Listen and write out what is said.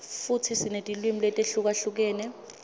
futsi sinetilwimi letihlukahlukene